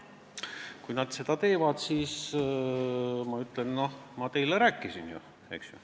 Kui nad seda teevad, siis ma ütlen: noh, ma ju rääkisin teile.